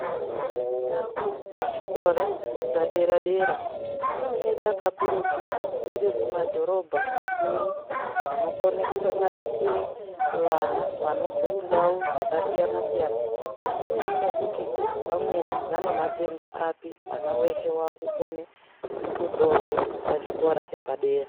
Ndau dzechikora zvepadera-dera dzinoeneka kakurutu dziri mumadhorobha makuru anokone kusanganisire vana vanobve kundau dzakasiyana-siyana zvisinei nekuti vamweni vane matenda api. Mwana weshe wakukone kutorwe pa chikora chepadera.